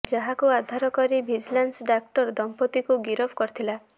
ଯାହାକୁ ଆଧାର କରି ଭିଜିଲାନ୍ସ ଡାକ୍ତର ଦମ୍ପତିଙ୍କୁ ଗିରଫ କରିଥିଲା